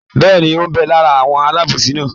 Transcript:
Bẹ́ẹ̀ni, ó ń bẹ lára àwọn alábòsí náà?